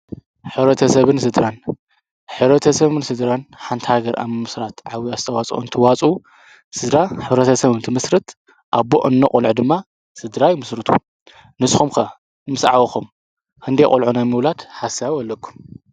ሕብረተሰብን ስድራን፣ ሕረተሰብን ስድራን ሓንቲ ሃገር ኣብ ምሥራት ዓብይ ኣስተዋፅኦ እንትዋጹኡ። ስድራ ሕረተ ሰብ እንቲምስርት ኣቦ፣ እኖ ቖልዑ ድማ ስድራ ይምስርቱ። ንስኹ ከ ምስ ዓበኩም ክንደይ ቖልዖ ናይ ምውላድ ሓሳብ ኣለኩም?